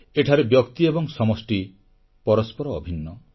ଏଠାରେ ବ୍ୟକ୍ତି ଏବଂ ସମଷ୍ଟି ପରସ୍ପର ଅଭିନ୍ନ